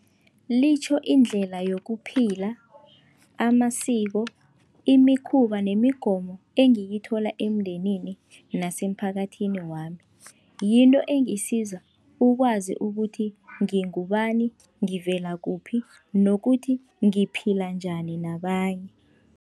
Litjho indlela yokuphila, amasiko, imikhuba nemigomo engiyithola emndenini nasemphakathini wami. Yinto engisiza ukwazi ukuthi ngingubani, ngivela kuphi nokuthi ngiphila njani nabanye.